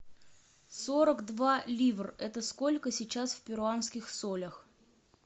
сорок два ливр это сколько сейчас в перуанских солях